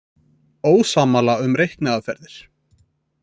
Ósammála um reikniaðferðir